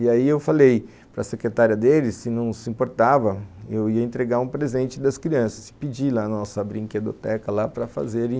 E aí eu falei para a secretária deles, se não se importava, eu ia entregar um presente das crianças e pedir lá na nossa brinquedoteca lá para fazerem